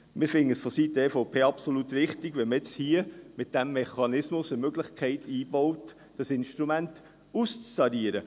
Wir finden es vonseiten der EVP absolut richtig, wenn man nun hier mit diesem Mechanismus eine Möglichkeit einbaut, dieses Instrument auszutarieren.